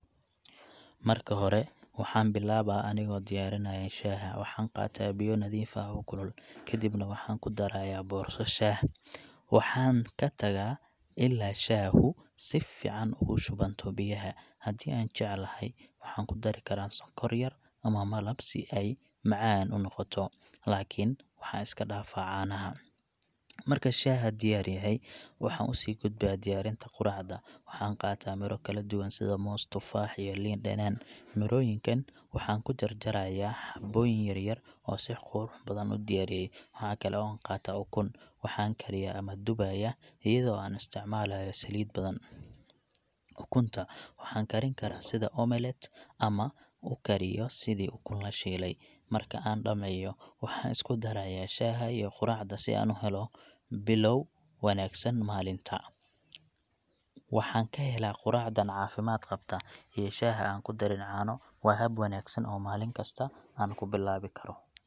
Marka hore, waxaan bilaabaa anigoo diyaarinaya shaaha. Waxaan qaataa biyo nadiif ah oo kulul, kadibna waxaan ku darayaa boorso shaah. Waxaan ka tagaa ilaa shaahu si fiican ugu shubanto biyaha. Haddii aan jecelahay, waxaan ku dari karaa sonkor yar ama malab si ay macaan unoqoto, laakiin waxaan iska dhaafaa caanaha. Marka shaaha diyaar yahay, waxaan u sii gudbaa diyaarinta quraacda. Waxaan qaataa miro kala duwan sida moos, tufaax, iyo liin dhanaan. Mirooyinka waxaan ku jarjarayaa xabooyin yar-yar oo si qurux badan u diyaariye. Waxa kale oo aan qaataa ukun, waxaan kariyaa ama dubayaa iyadoo aan isticmalaayo saliid badan. Ukunta waxaan karin karaa sida [cs[omelet ama u kariyo sidii ukun la shiilay. Marka aan dhammeeyo, waxaan isku darayaa shaaha iyo quraacda si aan u helo bilow wanaagsan maalinta. Waxaan ka helaa quraacdan caafimaad qabta iyo shaaha aan ku darin caano. Waa hab wanaagsan oo maalin kasta aan ku bilaawi karo .